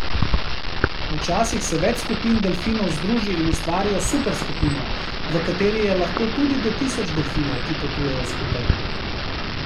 Včasih se več skupin delfinov združi in ustvarijo super skupino, v kateri je lahko tudi do tisoč delfinov, ki potujejo skupaj.